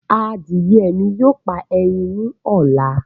Adìye mi yóò pa ẹyin ni ọ̀la